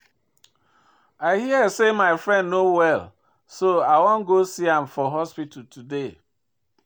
I hear say my friend no well so I wan go see am for hospital today